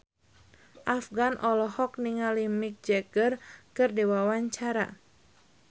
Afgan olohok ningali Mick Jagger keur diwawancara